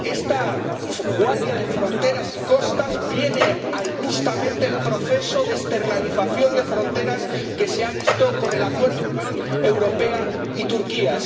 Esta Guardia de Fronteras y Costas viene a incrementar justamente el proceso de externalización de las fronteras que se ha visto con el Acuerdo entre la Unión Europea y Turquía.